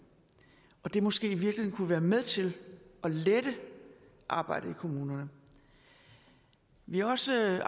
det kunne måske i virkeligheden være med til at lette arbejdet i kommunerne vi har også